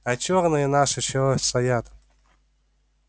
а чёрные наши чего стоят